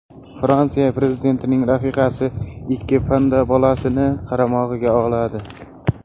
Fransiya prezidentining rafiqasi ikki panda bolasini qaramog‘iga oladi.